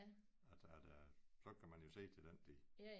Altså at øh så kan man jo se til den tid